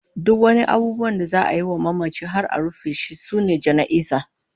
Duk abubuwan da za'a yi wa mamaci har a rufe shi sune jana'iza